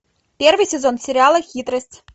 первый сезон сериала хитрость